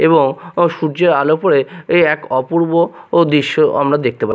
এবং সূর্যের আলো পড়ে এ এক অপূর্ব দৃশ্য আমরা দেখতে পা--